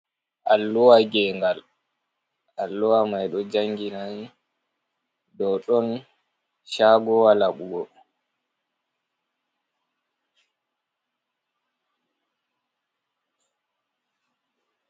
Alluwa gengal, alluwa mai ɗo jangina ɗou ɗon cagowa laɓugo.